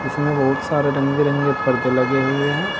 इसमें बहुत सारे रंग बिरंगे परदे लगे हुए हैं।